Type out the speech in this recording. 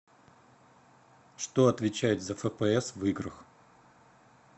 что отвечает за фпс в играх